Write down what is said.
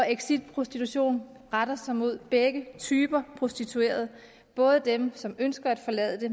exit prostitution retter sig mod begge typer prostituerede både dem som ønsker at forlade